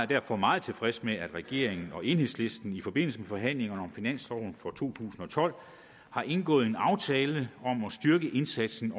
derfor meget tilfreds med at regeringen og enhedslisten i forbindelse med forhandlingerne om finansloven for to tusind og tolv har indgået en aftale om at styrke indsatsen